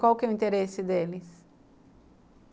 Qual que é o interesse deles?